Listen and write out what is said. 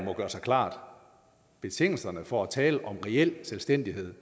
gøre sig klart at betingelserne for at tale om reel selvstændighed